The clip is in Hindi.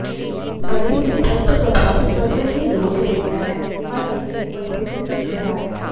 बढ़ी हुई रक्त प्रवाह त्वचा की लोच देता है और अपनी उपस्थिति में सुधार